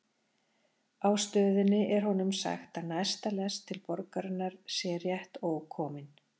Á stöðinni er honum sagt að næsta lest inn til borgarinnar sé rétt ókomin.